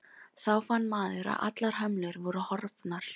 Þá fann maður að allar hömlur voru horfnar.